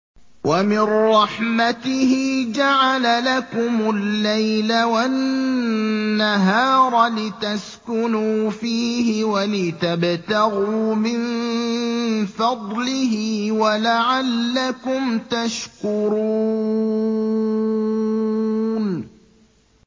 وَمِن رَّحْمَتِهِ جَعَلَ لَكُمُ اللَّيْلَ وَالنَّهَارَ لِتَسْكُنُوا فِيهِ وَلِتَبْتَغُوا مِن فَضْلِهِ وَلَعَلَّكُمْ تَشْكُرُونَ